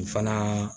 Fana